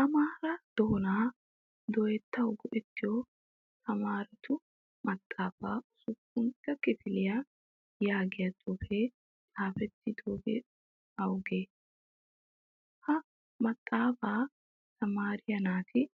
Amaara doonaa dooyettawu go'ettiyo tamaarettu maxaafaa usuppuntta kifiliyaa yaagiyaa xuufee xaafettidoy awude? Ha maxaafaa tamaariyaa naati